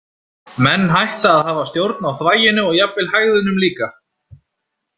Menn hætta að hafa stjórn á þvaginu og jafnvel hægðunum líka.